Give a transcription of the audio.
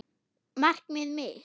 Markið mitt?